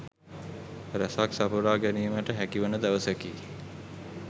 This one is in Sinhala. රැසක් සපුරා ගැනීමට හැකිවන දවසකි.